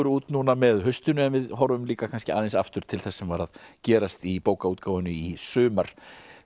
út núna með haustinu en við horfum líka kannski aðeins aftur til þess sem var að gerast í bókaútgáfunni í sumar